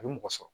A bɛ mɔgɔ sɔrɔ